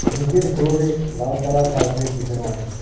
নীচের ফ্লোরে লাল কালার কার্পেট বিছানো আছে।